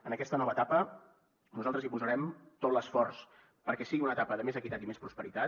en aquesta nova etapa nosaltres hi posarem tot l’esforç perquè sigui una etapa de més equitat i més prosperitat